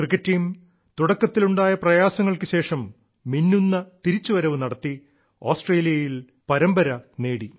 cricket team തുടക്കത്തിലുണ്ടായ പ്രയാസങ്ങൾക്കു ശേഷം മിന്നുന്ന തിരിച്ചുവരവു നടത്തി ആസ്ട്രേലിയയിൽ പരമ്പര നേടി